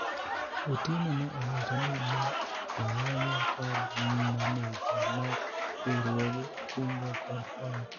Otieno ne owacho ni ne oyanye kod maneja mar riwruog kungo kod hola